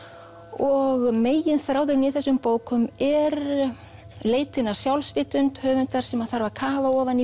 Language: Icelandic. og megin þráðurinn í þessum bókum er leitin að sjálfsvitund höfundar sem þarf að kafa ofan í